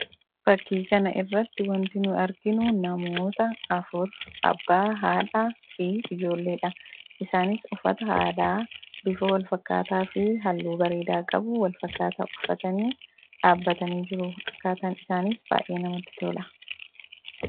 Fakkii kanarratti kan arginu namoota afur: abbaa, haadhaa fi ijoolleedha. Isaanis uffata aadaa bifa wal fakkaataa fi halluu wak fakkaataa qabu uffatanii dhaabbatanii jiru. Akkaataan isaaniis baay'ee namatti tola.